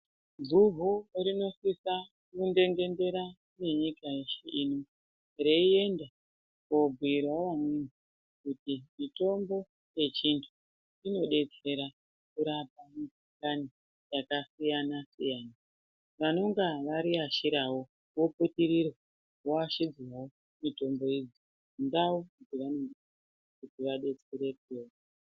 Guhu tinosisa kundengendera nenyika yeshe ino, reienda koobhuirawo amweni ,kuti mitombo yechintu, inodetsera kurapa mukhuhlani yakasiyana-siyana. Vanonga variashirawo voputirirwa voashidzwawo mitombo iyi kundau dzavanobva kuti vadetserekewo.